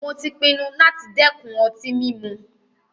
Mó tí pinnu láti dẹ́kun ọtí mímu.